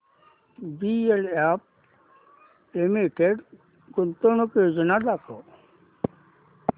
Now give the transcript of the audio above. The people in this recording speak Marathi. डीएलएफ लिमिटेड गुंतवणूक योजना दाखव